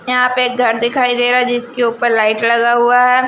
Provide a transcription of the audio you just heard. यहां पे एक घर दिखाई दे रहा है जिसके ऊपर लाइट लगा हुआ है।